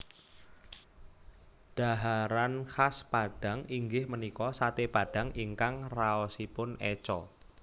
Dhaharan khas Padang inggih menika sate padang ingkang raosipun eco